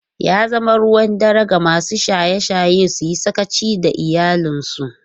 Ya zama ruwan dare ga masu shaye-shaye su yi sakaci da iyalansu.